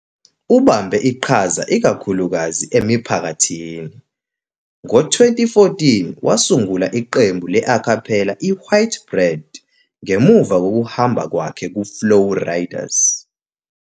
Ubambe iqhaza ikakhulukazi emiphakathini. Ngo-2014, wasungula iqembu le-cappella i-White Bread, ngemuva kokuhamba kwakhe ku-Flow Riders.